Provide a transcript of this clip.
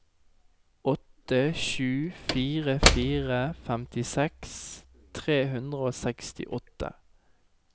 åtte sju fire fire femtiseks tre hundre og sekstiåtte